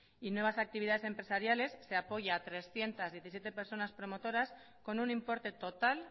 y nuevas actividades empresariales se apoya a trescientos diecisiete personas promotoras con un importe total